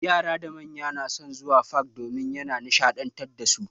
Yara da manya na son zuwa fak domin ya na nishaɗantar dasu.